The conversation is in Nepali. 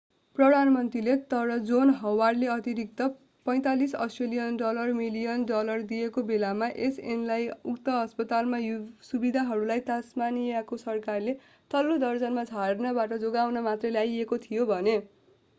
प्रधानमन्त्रीले तर जोन हवार्डले अतिरिक्त aud$45 मिलियन डलर दिएको बेलामा यस ऐनलाई उक्त अस्पतालका सुविधाहरूलाई तास्मानीयाको सरकारले तल्लो दर्जामा झर्नबाट जोगाउन मात्रै ल्याइएको थियो भने।